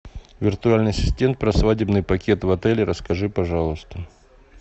виртуальный ассистент про свадебный пакет в отеле расскажи пожалуйста